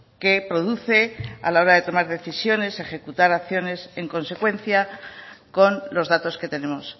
que produce a la hora de tomar decisiones ejecutar acciones en consecuencia con los datos que tenemos